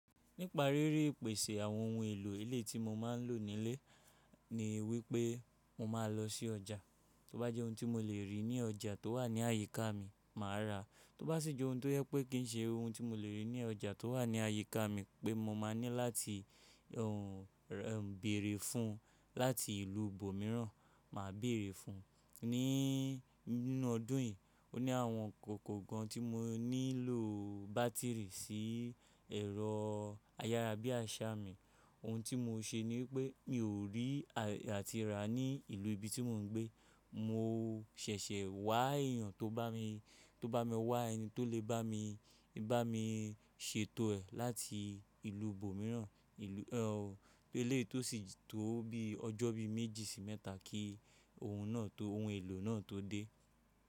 Nípa rí rí ìpèsè àwọn ohun èlò elé tí mo máa ń lò nílé, ni wípé mo máa lọ sí ọjà. Tóbá jẹ́ ohun tí mo lè rí ní ọjà tó wà ní àyíká mi, màá rà á. Tóbá sì jẹ́ ohun tó je pé kí n ṣe ohun tí mo lè rí ní ọjà tó wà ní àyíká mi pé mo máa ní láti ohùn béèrè fún láti ìlú ibòmíràn, màá béèrè fún. Nínú ọdún yìí, o ní àwọn kòkò kan tí mo nílò bátìrì sí ẹ̀rọ ayárabíàṣá mi. Ohun tí mo ṣe ni wípé mi ò rí àye ati rà ní ìlú ibi tí mò ń gbé. Mo ṣẹ̀ṣẹ̀ wá èyàn tó bá mi, tó bá mi wá ẹni tó lè bá mi, bá mi ṣètò ẹ̀ láti ìlú ibòmíràn, ìlú elé tó sì tó bí ọjọ́ bí méjì sí mẹ́ta kí ohun náà tó, ohun èlò náà tó dé.